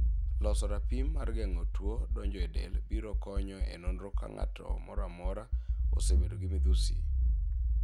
Loso rapim mar geng'o tuo donje e del biro konyo e nonro ka ng'at moro amora ose bedo gi midhusi.